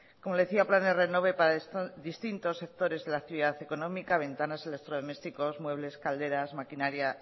como le decía planes renove para distintos sectores de la actividad económica ventanas electrodomésticos muebles calderas maquinaria